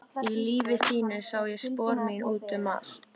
Í lífi þínu sá ég spor mín út um allt.